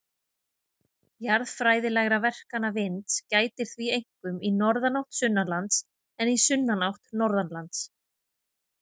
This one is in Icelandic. Jarðfræðilegra verkana vinds gætir því einkum í norðanátt sunnanlands en í sunnanátt norðanlands.